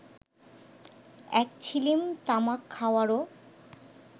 এক ছিলিম তামাক খাওয়ারও